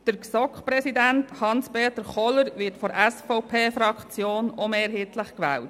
Der GSoK-Präsident Hans-Peter Kohler wird von der SVP-Fraktion ebenfalls mehrheitlich gewählt.